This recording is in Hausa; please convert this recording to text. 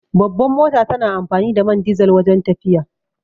Babbar mota tana amfani da man dizal wajen tafiya